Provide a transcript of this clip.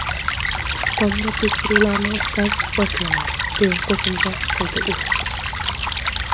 Tongda tekshiruvlarni o‘tkazish boshlanadi”, deya qo‘shimcha qildi u.